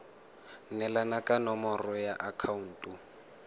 neelana ka nomoro ya akhaonto